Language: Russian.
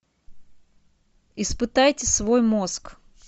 испытайте свой мозг